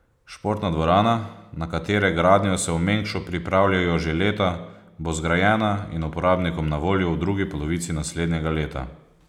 Športna dvorana, na katere gradnjo se v Mengšu pripravljajo že leta, bo zgrajena in uporabnikom na voljo v drugi polovici naslednjega leta.